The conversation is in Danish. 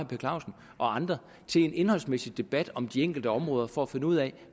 per clausen og andre til en indholdsmæssig debat om de enkelte områder for at finde ud af